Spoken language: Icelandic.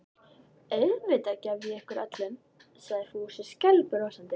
Auðvitað gef ég ykkur öllum sagði Fúsi skælbrosandi.